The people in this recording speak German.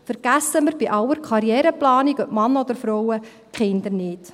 Vergessen wir bei aller Karriereplanung – ob Mann oder Frau – die Kinder nicht.